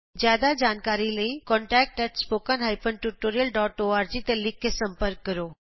ਜਿਆਦਾ ਜਾਣਕਾਰੀ ਲਈ contact at spoken hyphen tutorial dot org ਤੇ ਲਿਖ ਕੇ ਸੰਪਰਕ ਕਰੋ